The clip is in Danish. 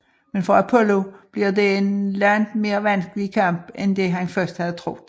Men for Apollo bliver dette en langt mere vanskelig kamp end det han først havde troet